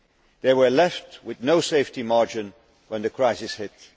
They were left with no safety margin when the crisis hit.